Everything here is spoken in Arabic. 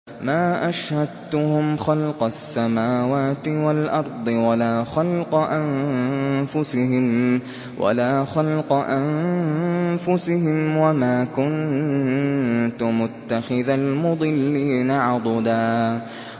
۞ مَّا أَشْهَدتُّهُمْ خَلْقَ السَّمَاوَاتِ وَالْأَرْضِ وَلَا خَلْقَ أَنفُسِهِمْ وَمَا كُنتُ مُتَّخِذَ الْمُضِلِّينَ عَضُدًا